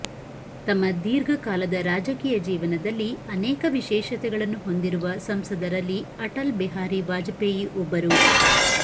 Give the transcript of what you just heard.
ತಮ್ಮ ದೀರ್ಘ ಕಾಲದ ರಾಜಕೀಯ ಜೀವನದಲ್ಲಿ ಅನೇಕ ವಿಶೇಷತೆಗಳನ್ನು ಹೊಂದಿರುವ ಸಂಸದರಲ್ಲಿ ಅಟಲ್ ಬಿಹಾರಿ ವಾಜಪೇಯಿ ಒಬ್ಬರು